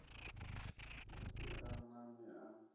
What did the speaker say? hu sin a nani a